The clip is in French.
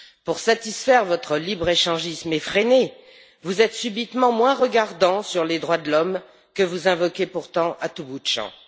Pour satisfaire votre libre échangisme effréné, vous êtes subitement moins regardants sur les droits de l'homme, que vous invoquez pourtant à tout bout de champ.